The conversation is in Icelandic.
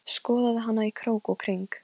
Það er algerlega mitt mál hverja ég umgengst.